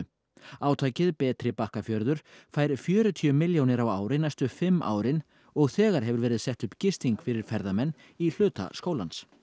átakið betri Bakkafjörður fær fjörutíu milljónir á ári næstu fimm árin og þegar hefur verið sett upp gisting fyrir ferðamenn í hluta skólans